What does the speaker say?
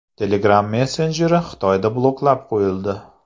Telegram messenjeri Xitoyda bloklab qo‘yildi.